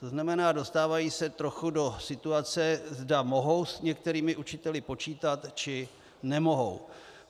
To znamená, dostávají se trochu do situace, zda mohou s některými učiteli počítat, či nemohou.